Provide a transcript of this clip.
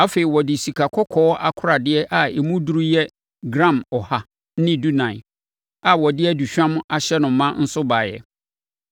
Afei, ɔde sikakɔkɔɔ akoradeɛ a emu duru yɛ gram ɔha ne dunan (114) a wɔde aduhwam ahyɛ no ma nso baeɛ.